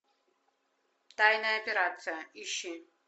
тайная операция ищи